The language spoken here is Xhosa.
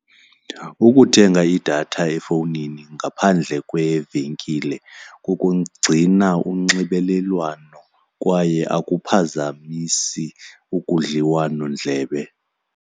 Ukuthenga idatha efowunini ngaphandle kwevenkile kukugcina unxibelelwano kwaye akuphazamisi ukudliwanondlebe.